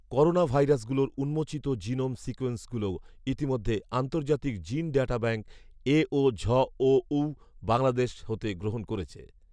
corona ভাইরাসগুলোর উম্মোচিত genome সিকোন্সিংগুলো ইতিমধ্যে আর্ন্তজাতিক জীন ডাটা ব্যাংক এওঝঅওউ বাংলাদেশ হতে গ্রহণ করেছে